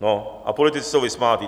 No a politici jsou vysmátý.